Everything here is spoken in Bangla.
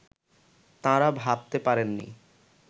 তাঁরা ভাবতে পারেননি